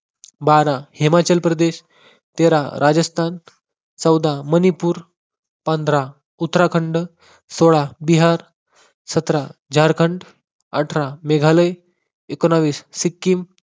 बारा हिमाचल प्रदेश, तेरा राजस्थान, चौदा मणिपुर, पंधरा उत्तराखंड, सोळा बिहार, सतरा झारखंड, अठरा मेघालय, एकोणावीस सिक्किम